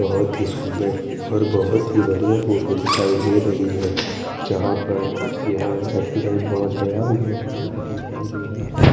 बोहोत ही सुन्दर और बोहोत ही बढ़िया फोटो दिखाई दे रही है जहा पर यह --